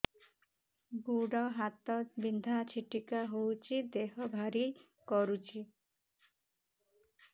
ଗୁଡ଼ ହାତ ବିନ୍ଧା ଛିଟିକା ହଉଚି ଦେହ ଭାରି କରୁଚି